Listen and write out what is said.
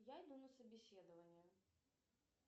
я иду на собеседование